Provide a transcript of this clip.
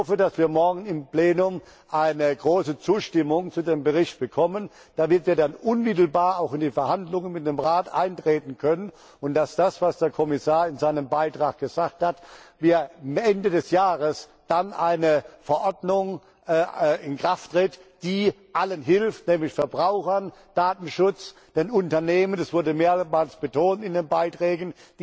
Ich hoffe, dass wir morgen im Plenum eine große Zustimmung zu dem Bericht bekommen, damit wir dann auch unmittelbar in die Verhandlungen mit dem Rat eintreten können, und dass, wie der Kommissar in seinem Beitrag gesagt hat, am Ende des Jahres dann eine Verordnung in Kraft tritt, die allen hilft, nämlich den Verbrauchern, dem Datenschutz, den Unternehmen das wurde mehrmals betont in den Beiträgen